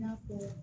I n'a fɔ